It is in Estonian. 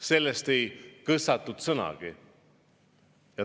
Sellest ei kõssatud sõnagi.